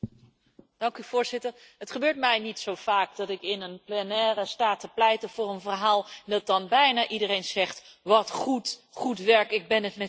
Voorzitter, het gebeurt mij niet zo vaak dat ik in een plenaire sta te pleiten voor een verhaal en dat dan bijna iedereen zegt Wat goed, goed werk, ik ben het met u eens.